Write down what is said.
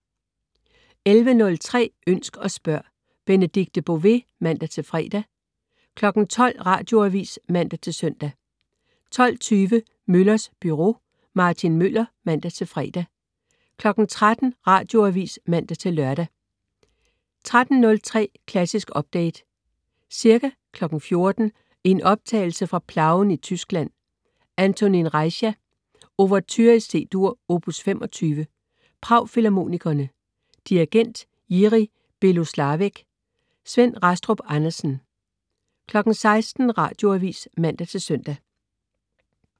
11.03 Ønsk og spørg. Benedikte Bové (man-fre) 12.00 Radioavis (man-søn) 12.20 Møllers Byro. Martin Møller (man-fre) 13.00 Radioavis (man-lør) 13.03 Klassisk Update. Ca. 14.00 i en optagelse fra Plauen i Tyskland. Antonín Rejcha: Ouverture C-dur, opus 25. Prag Filharmonikerne. Dirigent: Jirí Belohlávek. Svend Rastrup Andersen 16.00 Radioavis (man-søn)